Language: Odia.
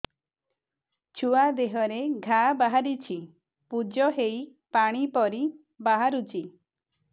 ଛୁଆ ଦେହରେ ଘା ବାହାରିଛି ପୁଜ ହେଇ ପାଣି ପରି ବାହାରୁଚି